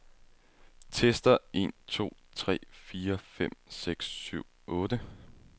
Tester en to tre fire fem seks syv otte.